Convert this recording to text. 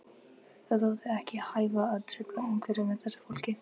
Það þótti ekki hæfa að trufla umhverfið með þessu fólki.